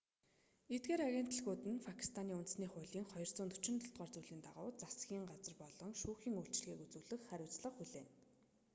эдгээр агентлагууд нь пакистаний үндсэн хуулийн 247-р зүйлийн дагуу засгийн газар болон шүүхийн үйлчилгээг үзүүлэх хариуцлага хүлээнэ